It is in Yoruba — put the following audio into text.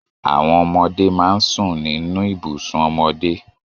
Àwọn ọmọdé máa ń sùn nínú ibùsùn ọmọdé